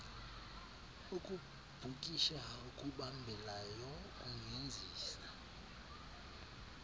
ukubhukisha okubambelayo kungenziwa